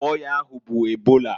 Afa ọya ahụ bụ ebola.